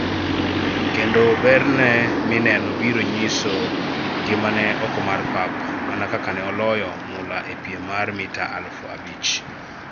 Kendo berne mineno biro nyiso ngima ne oko mar pap, mana kaka ne oloyo mula epiem mar mita aluf abich.